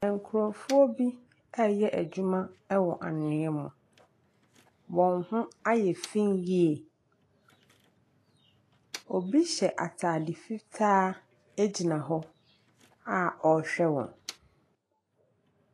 Nkrɔfoɔ bi ɛyɛ adwuma ɛwɔ anwia mu. Wɔn ho ayɛ fiin yie. Obi hyɛ ataade fitaa agyina hɔ a ɔhwɛ wɔn.